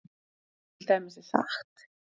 Til dæmis er sagt